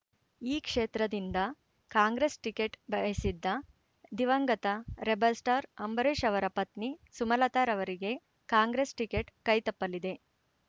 ಈ ಕ್ಷೇತ್ರದಿಂದ ಕಾಂಗ್ರೆಸ್ ಟಿಕೇಟ್ ಬಯಸಿದ್ದ ದಿವಂಗತ ರೆಬೆಲ್ ಸ್ಟಾರ್ ಅಂಬರೀಷ್ ಅವರ ಪತ್ನಿ ಸುಮಲತಾರವರಿಗೆ ಕಾಂಗ್ರೆಸ್ ಟಿಕೇಟ್ ಕೈ ತಪ್ಪಲಿದೆ